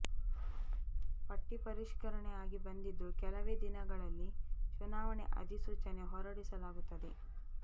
ಪಟ್ಟಿ ಪರಿಷ್ಕರಣೆ ಆಗಿ ಬಂದಿದ್ದು ಕೆಲವೇ ದಿನಗಳಲ್ಲಿ ಚುನಾವಣೆ ಅಧಿಸೂಚನೆ ಹೊರಡಿಸಲಾಗುತ್ತದೆ